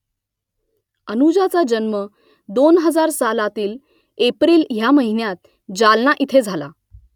अनुजाचा जन्म दोन हजार सहा सालातील एप्रिल ह्या महिन्यात जालना इथे झाला